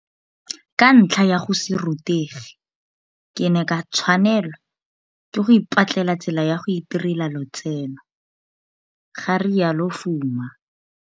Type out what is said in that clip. Ka ntlha ya go se rutege, ke ne ka tshwanela ke go ipatlela tsela ya go itirela lotseno, ga rialo Fuma.